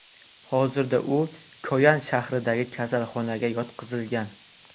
Hozirda u Koyan shahridagi kasalxonaga yotqizilgan.